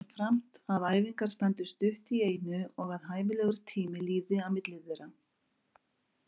Jafnframt að æfingar standi stutt í einu og að hæfilegur tími líði á milli þeirra.